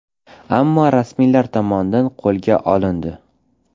Ammo rasmiylar tomonidan qo‘lga olindi.